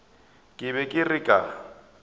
ke be ke re ka